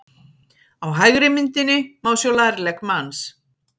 Á hægri myndinni má sjá lærlegg manns.